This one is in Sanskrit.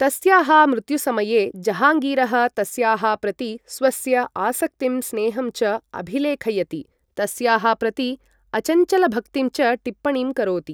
तस्याः मृत्युसमये जहाङ्गीरः तस्याः प्रति स्वस्य आसक्तिं स्नेहं च अभिलेखयति, तस्याः प्रति अचञ्चलभक्तिं च टिप्पणीं करोति ।